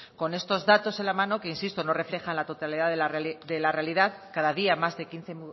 con estos datos en la mano que insisto no reflejan la totalidad de la realidad cada día más de quince